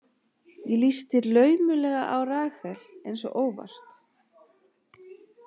Ég lýsti laumulega á Rahel, eins og óvart.